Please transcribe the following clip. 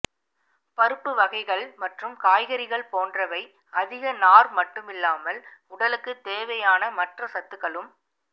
பருப்பு வகைகள் மற்றும் காய்கறிகள் போன்றவை அதிக நார் மட்டுமில்லாமல் உடலுக்கு தேவையான மற்ற சத்துக்களும்